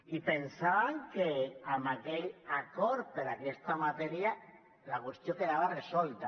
i pensàvem que amb aquell acord per a aquesta matèria la qüestió quedava resolta